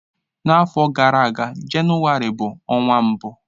N'afọ gara aga, Jenụwarị bụ ọnwa mbụ.